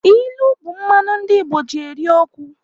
Ilu bụ mmanụ ndị Igbo ji eri okwu.